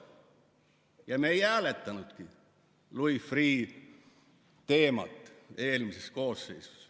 Ja me ei hääletanudki Louis Freeh' teemat eelmises koosseisus.